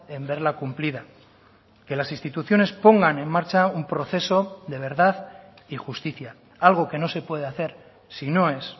en verla cumplida que las instituciones pongan en marcha un proceso de verdad y justicia algo que no se puede hacer si no es